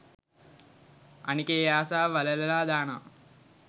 මම ඒ ආසාව වලලලා දානවා.